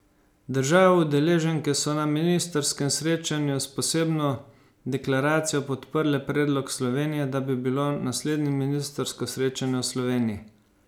Države udeleženke so na ministrskem srečanju s posebno deklaracijo podprle predlog Slovenije, da bi bilo naslednje ministrsko srečanje v Sloveniji.